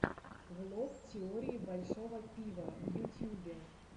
влог теории большого пива в ютьюбе